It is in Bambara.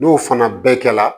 N'o fana bɛɛ kɛra